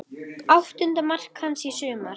Áttunda mark hans í sumar.